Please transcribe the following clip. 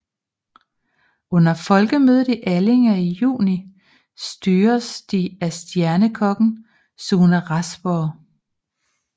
Under Folkemødet i Allinge i juni styres de af stjernekokken Sune Rasborg